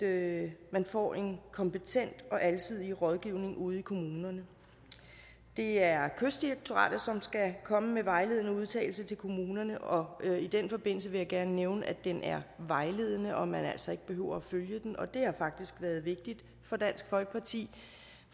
at man får en kompetent og alsidig rådgivning ude i kommunerne det er kystdirektoratet som skal komme med vejledende udtalelse til kommunerne og i den forbindelse vil jeg gerne nævne at den er vejledende og at man altså ikke behøver at følge den og det har faktisk været vigtigt for dansk folkeparti